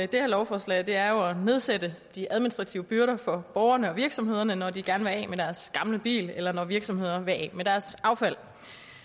det her lovforslag er jo at nedsætte de administrative byrder for borgerne og virksomhederne når de gerne vil af med deres gamle bil eller når virksomheder vil af med deres affald